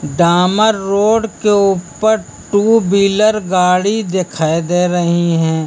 दामर road के ऊपर two wheeler गाड़ी दिखाई दे रही हैं।